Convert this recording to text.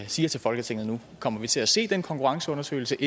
siger til folketinget nu kommer vi til at se den konkurrenceundersøgelse